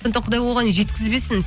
құдай оған жеткізбесін